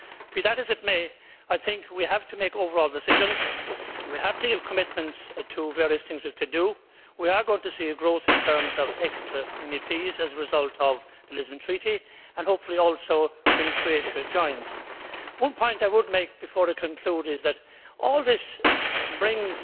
Be that as it may, I think we have to make overall decisions, we have to give commitments to various things we have to do, we are going to see growth in terms of extra MEPs as a result of the Lisbon Treaty and, hopefully, also when Croatia joins. One point I would make before I conclude is that all this brings